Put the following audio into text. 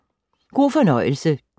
God fornøjelse.